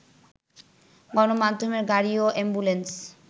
গণমাধ্যমের গাড়ি ও অ্যাম্বুলেন্স